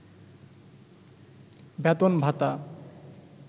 বেতন-ভাতা